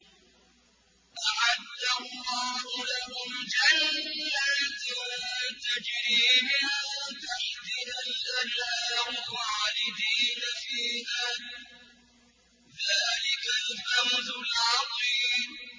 أَعَدَّ اللَّهُ لَهُمْ جَنَّاتٍ تَجْرِي مِن تَحْتِهَا الْأَنْهَارُ خَالِدِينَ فِيهَا ۚ ذَٰلِكَ الْفَوْزُ الْعَظِيمُ